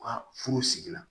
U ka furu sigi la